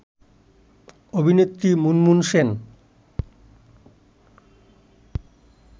অভিনেত্রী মুনমুন সেন